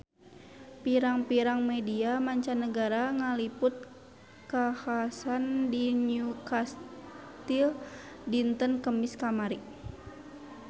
Pirang-pirang media mancanagara ngaliput kakhasan di Newcastle dinten Kemis kamari